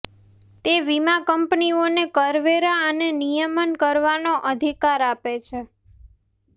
તે વીમા કંપનીઓને કરવેરા અને નિયમન કરવાનો અધિકાર આપે છે